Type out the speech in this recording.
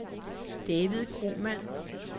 David Kromann